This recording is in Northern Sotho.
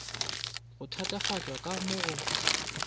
go thatafatšwa ka mo go